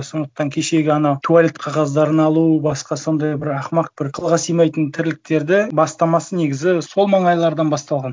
сондықтан кешегі анау туалет қағаздарын алу басқа сондай бір ақымақ бір ақылға симайтын тірліктеді бастамасы негізі сол маңайлардан басталған